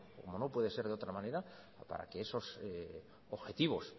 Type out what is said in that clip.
como no puede ser de otra manera para que esos objetivos